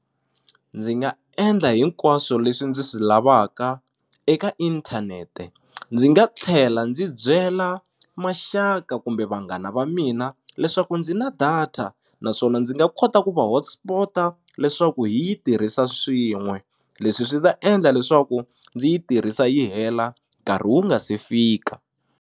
Ndzi nga endla hinkwaswo leswi ndzi swi lavaka eka inthanete ndzi nga tlhela ndzi byela maxaka kumbe vanghana va mina leswaku ndzi na data naswona ndzi nga kota ku va hotspot-a leswaku hi yi tirhisa swin'we leswi swi ta endla leswaku ndzi yi tirhisa yi hela nkarhi wu nga se fika.